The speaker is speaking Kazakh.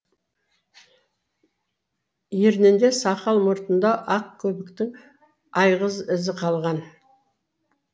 ернінде сақал мұртында ақ көбіктің айғыз ізі қалған